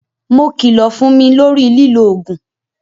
Mo kilo fún mi lórí lilo ogun